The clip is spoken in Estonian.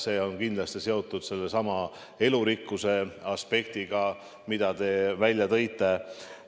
See on kindlasti seotud sellesama elurikkuse aspektiga, mille te välja tõite.